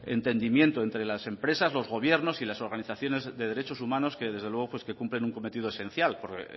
entendimiento entre las empresas los gobiernos y las organizaciones de derechos humanos que desde luego cumplen un cometido esencial porque